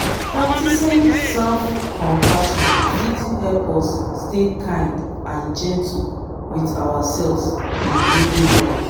practicing self-compassion fit help us stay kind and gentle with ourselves in daily life.